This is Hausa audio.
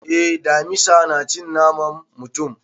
Eh, damisa na cin naman mutum.